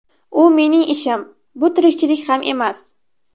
U mening ishim, bu tirikchilik ham emas.